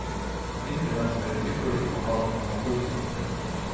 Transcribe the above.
Internett er en ypperlig kanal å nå publikum på.